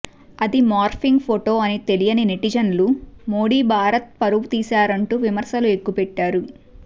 అది morphing photo అని తెలియని నెటిజన్లు మోడీ భారత్ పరువు తీసారంటూ విమర్శలు ఎక్కుపెట్టారు